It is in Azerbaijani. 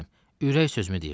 Ürək sözümü deyirdim.